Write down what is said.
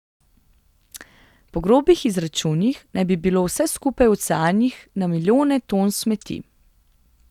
Po grobih izračunih naj bi bilo vse skupaj v oceanih na milijone ton smeti.